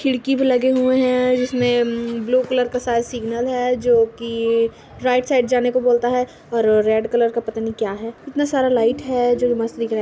खिड़की भी लगे हुए हैं जिसमे अम.. ब्लू कलर का साइड सिग्नल है जो कि राईट साइड जाने को बोलता है और रेड कलर का पता नही क्या है इतना सारा लाईट है जो मस्त दिख रहा है ।